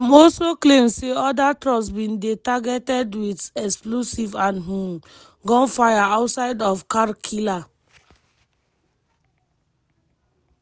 dem also claim say oda troops bin dey targeted wit explosives and um gunfire outside of kar kila.